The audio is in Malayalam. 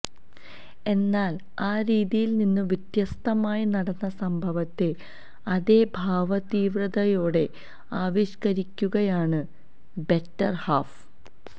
എന്നാല് ആ രീതിയില്നിന്ന് വ്യത്യസ്തമായി നടന്ന സംഭവത്തെ അതേ ഭാവതീവ്രതയോടെ ആവിഷ്ക്കരിക്കുകയാണ് ബെറ്റര് ഹാഫ്